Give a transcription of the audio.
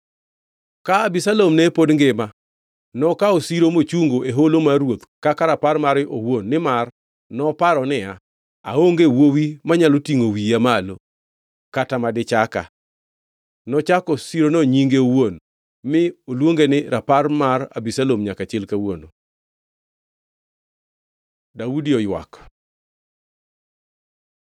Ka Abisalom ne pod ngima nokawo siro mochungo e Holo mar Ruoth kaka rapar mare owuon nimar noparo niya, “Aonge wuowi manyalo tingʼo wiya malo kata ma dichaka.” Nochako sirono nyinge owuon, mi oluonge ni Rapar mar Abisalom nyaka chil kawuono. Daudi oywak